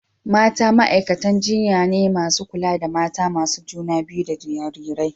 mata ma’aikatan jinya ne masu kula da mata masu juna biyu da jarirai.